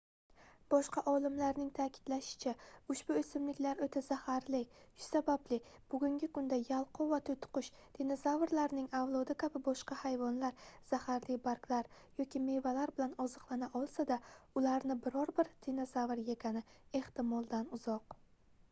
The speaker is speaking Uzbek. boshqa olimlarning ta'kidlashicha ushbu o'simliklar o'ta zaharli shu sababli bugungi kunda yalqov va to'tiqush dinozavrlarning avlodi kabi boshqa hayvonlar zaharli barglar yoki meva bilan oziqlana olsa-da ularni biror bir dinozavr yegani ehtimoldan uzoq